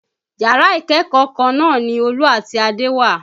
Yàrá ìkẹ́kọ̀ọ́ kan náà ni Olú àti Adé wà